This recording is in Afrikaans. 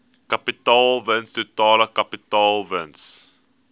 kapitaalwins totale kapitaalwins